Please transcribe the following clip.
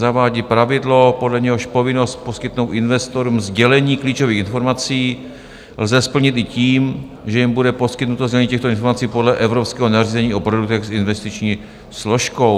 Zavádí pravidlo, podle něhož povinnost poskytnout investorům sdělení klíčových informací lze splnit i tím, že jim bude poskytnuto sdělení těchto informací podle evropského nařízení o produktech s investiční složkou.